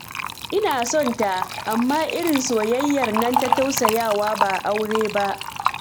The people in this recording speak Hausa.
Ina son ta, amma irin soyayyar nan ta tausayawa ba aure ba